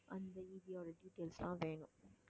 அந்த EB யோட details எல்லாம் வேணும்